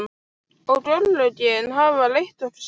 Og örlögin hafa leitt okkur saman.